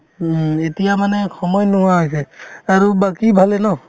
উম, এতিয়া মানে সময় নোহোৱা হৈছে আৰু বাকি ভালে ন